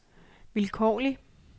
vilkårlig